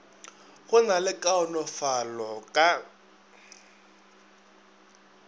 go na le kaonafalo ka